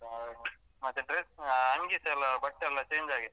ಮತ್ತೆ dress ಅಂಗಿಸ ಎಲ್ಲ ಬಟ್ಟೆ ಎಲ್ಲ change ಆಗಿದೆ.